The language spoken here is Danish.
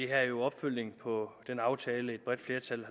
er jo opfølgning på den aftale et bredt flertal